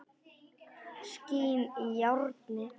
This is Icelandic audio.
Skín í járnið.